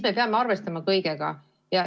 Me peame arvestama kõigega.